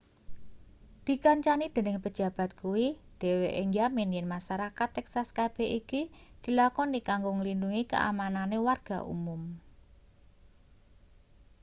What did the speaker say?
dikancani dening pejabat kuwi dheweke njamin yen masarakat texas kabeh iki dilakoni kanggo nglindhungi kaamanane warga umum